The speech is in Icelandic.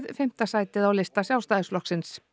fimmta sætið á lista Sjálfstæðisflokksins